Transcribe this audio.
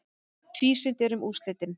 Tvísýnt er um úrslit.